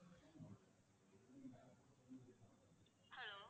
hello